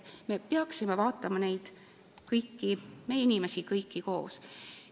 Me peaksime vaatama kõiki inimesi koos.